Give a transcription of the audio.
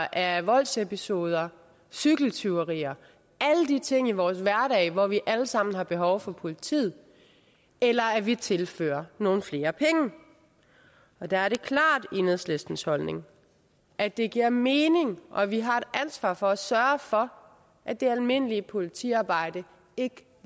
af voldsepisoder cykeltyverier alle de ting i vores hverdag hvor vi alle sammen har behov for politiet eller at vi tilfører nogle flere penge der er det klart enhedslistens holdning at det giver mening og at vi har et ansvar for at sørge for at det almindelige politiarbejde ikke